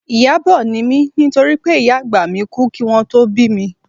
Ìyábọ̀ ni mí nítorí pé ìyá àgbà mi kú kí wọn tó bí mi